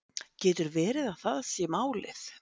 Getur verið að það sé málið